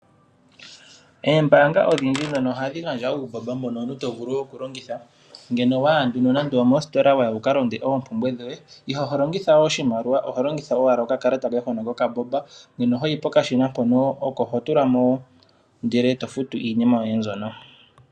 Oombaanga odhindji ohadhi gandja uumbomba mbono omuntu tovulu okulongitha. Uuna waya moostola wukakonge oompumbwe dhoye iholongitha oshimaliwa oho longitha owala okakalata koye hono kombaanga. Hoyi pokashina hono oko hotula mo ndele eto futu iinima yoye mbyoka.